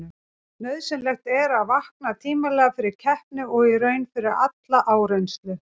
Nauðsynlegt er að vakna tímanlega fyrir keppni og í raun fyrir alla áreynslu.